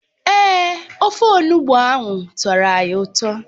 Èè, ofe Onugbụ ahụ tọrọ anyị ụtọ